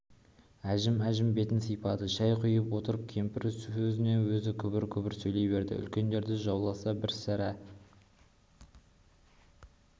әжім-әжім бетін сипады шай құйып отырып кемпір өзіне-өзі күбір-күбір сөйлей берді үлкендер жауласса бір сәрі